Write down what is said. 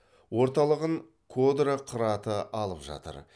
орталығын кодра қыраты алып жатыр